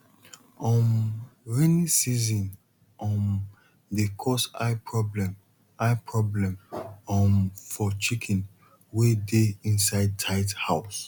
um raining season um dey cause eye problem eye problem for chicken wey dey inside tight house